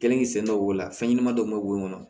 Kɛlen k'i sen dɔw la fɛn ɲɛnama dɔw mɛ k'o kɔnɔ